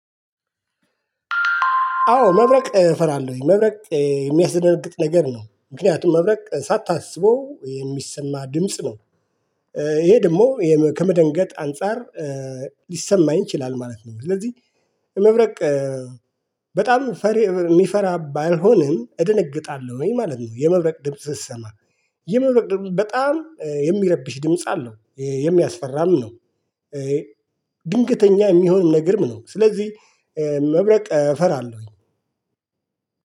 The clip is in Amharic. አዎ መብረቅ እፈራለሁኝ መብረቅ የሚያስደርግጥ ነገር ነው ምክንያቱም መብረቅ ሳታስበው የሚሰማ ድምጽ ነው። ይሄ ደግሞ ከመደንገጥ አንፃር ሊሰማኝ ይችላል ማለት ነው። ስለዚህ መብረቅ በጣም ፈሪ የሚፈራ ባልሆንም እደነግጣለሁ ወይ ማለት ነው የመብረቅ ድምጽ ስትሰማ የመብረቅ ድምጽ በጣም የሚያረብሽ ድምጽ አለው የሚያስፈራም ነው። ድንገተኛ የሚሆን ነገርም ነው። ስለዚህ መብረቅ እፈራለሁኝ።